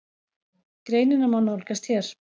Greinina má nálgast hér